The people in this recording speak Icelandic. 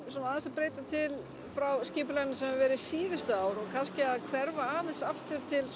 svona aðeins að breyta til frá skipulaginu sem hefur verið síðustu ár og kannski að hverfa aðeins aftur til